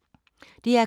DR K